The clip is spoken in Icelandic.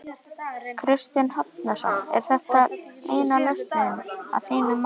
Kristinn Hrafnsson: Er þetta eina lausnin að þínu mati?